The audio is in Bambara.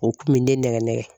O kun bɛ ne nɛgɛ nɛgɛ.